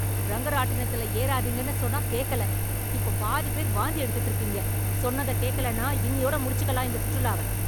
ரங்கராட்டினத்தில ஏறாதீங்கன்னு சொன்னா கேக்கல, இப்ப பாதி பேர் வாந்தி எடுத்துட்டு இருக்கீங்க. சொன்னத கேக்கலேனா இன்னியோட முடிச்சுக்கலாம் இந்த சுற்றுலாவ.